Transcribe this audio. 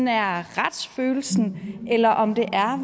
er retsfølelsen eller om det